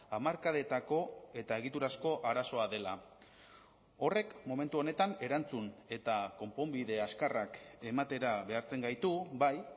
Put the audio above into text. hamarkadetako eta egiturazko arazoa dela horrek momentu honetan erantzun eta konponbide azkarrak ematera behartzen gaitu bai